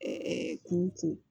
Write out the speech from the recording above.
kuru ko